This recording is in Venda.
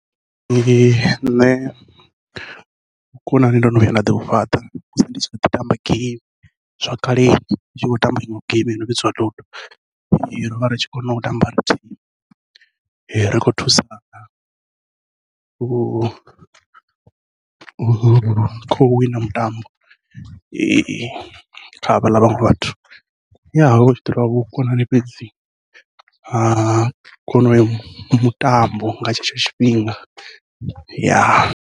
Nṋe vhukonani ndo no vhuya nda ḓi vhu fhaṱa musi ndi tshi kho ḓi tamba geimi, zwa kale ndi tshi khou tamba iṅwe geimi yono vhidziwa ludo, rovha ri tshi kona u tamba ri thimu ri khou thusana u u khau wina mutambo, kha havhaḽa vhaṅwe vhathu hatshi ḓi tovha vhukonani fhedzi ha kona uyo mutambo nga tshetsho tshifhinga .